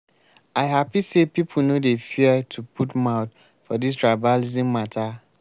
i hapi sey people no dey fear to put mouth for dis tribalism mata.